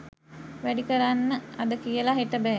වැඩි කරන්න අද කියලා හෙට බෑ.